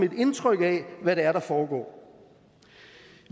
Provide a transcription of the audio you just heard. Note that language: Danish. et indtryk af hvad det er der foregår